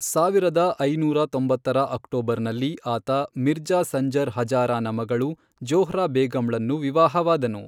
ಸಾವಿರದ ಐನೂರ ತೊಂಬತ್ತರ ಅಕ್ಟೋಬರ್ನಲ್ಲಿ, ಆತ ಮಿರ್ಜಾ ಸಂಜರ್ ಹಜಾರಾನ ಮಗಳು ಜೊಹ್ರಾ ಬೇಗಂಳನ್ನು ವಿವಾಹವಾದನು.